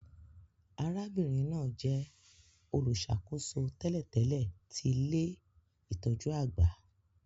Arábìnrin náà jẹ olùṣàkóso tẹ́lẹ̀tẹ́lẹ̀ ti ilé-itọju àgbà